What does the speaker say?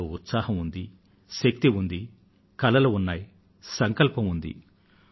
వారిలో ఉత్సాహం ఉంది శక్తి ఉంది కలలు ఉన్నాయి సంకల్పం ఉంది